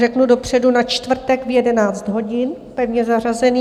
Řeknu dopředu, na čtvrtek v 11 hodin, pevně zařazený.